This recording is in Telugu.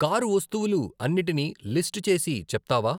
కారు వస్తువులు అన్నిటినీ లిస్టు చేసి చెప్తావా?